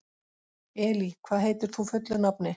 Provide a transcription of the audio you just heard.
Elí, hvað heitir þú fullu nafni?